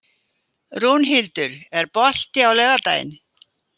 Rúnhildur, er bolti á laugardaginn?